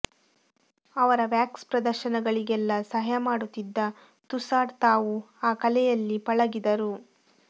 ಅವರ ವ್ಯಾಕ್ಸ್ ಪ್ರದರ್ಶನಗಳಿಗೆಲ್ಲಾ ಸಹಾಯ ಮಾಡುತ್ತಿದ್ದ ಥುಸಾಡ್ ತಾವೂ ಆ ಕಲೆಯಲ್ಲಿ ಪಳಗಿದರು